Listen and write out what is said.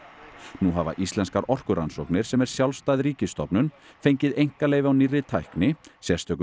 nú hafa Íslenskar orkurannsóknir sem er sjálfstæð ríkisstofnun fengið einkaleyfi á nýrri tækni sérstökum